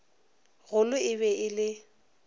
golo e be e le